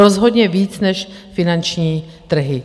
Rozhodně víc než finanční trhy.